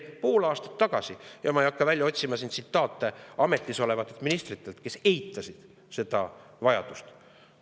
Ma ei hakka välja otsima tsitaate ametis olevatelt ministritelt, kes veel pool aastat tagasi eitasid seda vajadust.